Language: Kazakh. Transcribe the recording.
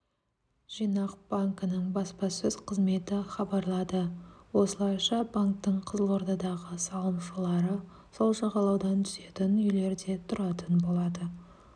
жинақ банкінің баспасөз қызметі хабарлады осылайша банктің қызылордадағы салымшылары сол жағалаудан түсетін үйлерде тұратын болады